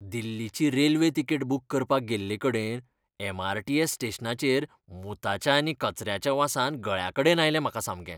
दिल्लीची railway ticket book करपाक गेल्लेकडेन एम. आर. टी. एस. स्टेशनाचेर मुताच्या आनी कचऱ्याच्या वासान गळ्याकडेन आयलें म्हाका सामकें.